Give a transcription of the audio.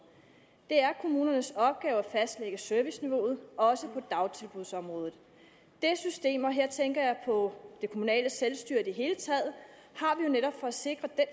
det er kommunernes opgave at fastlægge serviceniveauet også på dagtilbudsområdet det system og her tænker jeg på det kommunale selvstyre i det hele taget har vi jo netop for at sikre den